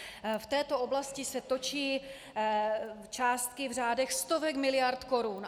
V této oblasti se točí částky v řádech stovek miliard korun.